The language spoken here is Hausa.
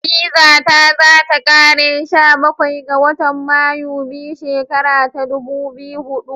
Bizata za ta kare sha Bakwai ga watan Mayu 2 shikara ta dubu biyu hudu.